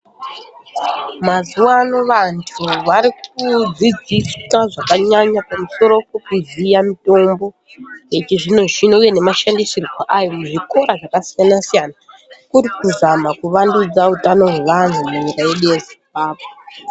Mazuwano vantu varikudzidziswa zvakanyanya pamusoro pekuziya mutombo yechizvino zvino uye nemashandisirwo ayi muzvikora zvakasiyana siyana kuri kuzama kuvandudza utano hwevantu munyika yedu yeZimbabwe.